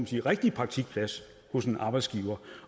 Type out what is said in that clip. sige rigtig praktikplads hos en arbejdsgiver